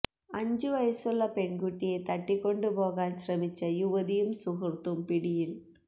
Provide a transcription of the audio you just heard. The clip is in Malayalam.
അഞ്ച് വയസുള്ള പെൺകുട്ടിയെ തട്ടിക്കൊണ്ട് പോകാൻ ശ്രമിച്ച യുവതിയും സുഹൃത്തും പിടിയിൽ